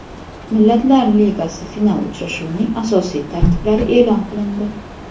Millatlar Ligasi final uchrashuvining asosiy tarkiblari e’lon qilindi.